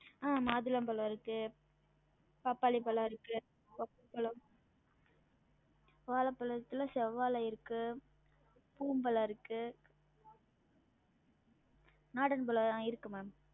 அஹ் மாதுளம் பழம் இருக்கு பப்பாளி பழம் இருக்கு வாழப்பழத்துல செவ்வாழ இருக்கு இருக்கு நாடன் பழம் இருக்கு maam